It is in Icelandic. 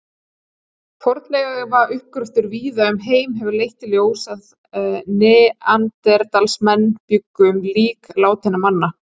Fornleifauppgröftur víða um heim hefur leitt í ljós að neanderdalsmenn bjuggu um lík látinna manna.